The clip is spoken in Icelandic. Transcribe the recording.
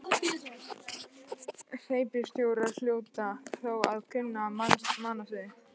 Hreppstjórar hljóta þó að kunna mannasiði.